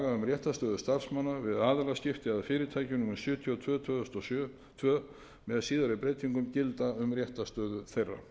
réttarstöðu starfsmanna við aðilaskipti eða fyrirtæki númer sjötíu og tvö tvö þúsund og tvö með síðari breytingu gilda um réttarstöðu þeirra